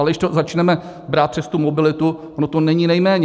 Ale když to začneme brát přes tu mobilitu, ono to není nejméně.